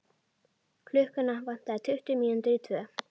Klukkuna vantaði tuttugu mínútur í tvö.